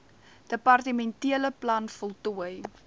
departementele plan voltooi